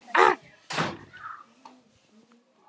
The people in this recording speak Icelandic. Það er öflugt.